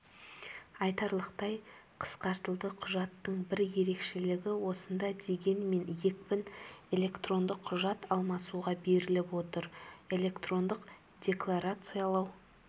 айтарлықтай қысқартылды құжаттың бір ерекшелігі осында дегенмен екпін электрондық құжат алмасуға беріліп отыр электрондық деклорациялау